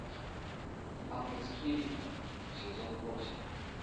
ангельские ритмы сезон восемь